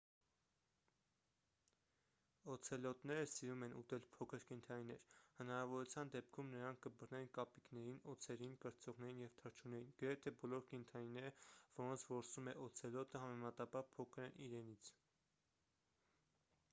օցելոտները սիրում են ուտել փոքր կենդանիներ հնարավորության դեպքում նրանք կբռնեն կապիկներին օձերին կրծողներին և թռչուններին գրեթե բոլոր կենդանիները որոնց որսում է օցելոտը համեմատաբար փոքր են իրենից